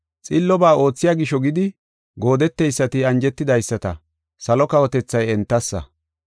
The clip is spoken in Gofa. Xillobaa oothiya gisho gidi, goodeteysati anjetidaysata, salo kawotethay entassa.